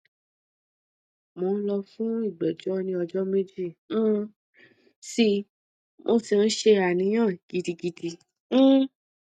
mo n lọ fún ìgbẹjọ ní ọjọ méjì um sí i mo sì n ṣe àníyàn gidigidi um